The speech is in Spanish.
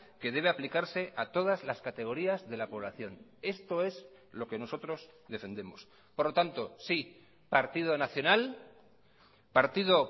que debe aplicarse a todas las categorías de la población esto es lo que nosotros defendemos por lo tanto sí partido nacional partido